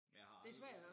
Jeg har aldrig